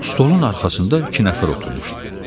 Stolun arxasında iki nəfər oturmuşdu.